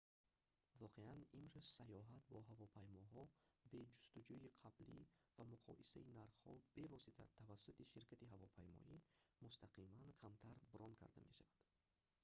воқеан имрӯз сайёҳат бо ҳавопаймоҳо бе ҷустуҷӯи қаблӣ ва муқоисаи нархҳо бевосита тавассути ширкати ҳавопаймоӣ мустақиман камтар брон карда мешавад